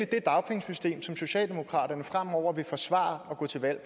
det dagpengesystem som socialdemokraterne fremover vil forsvare og gå til valg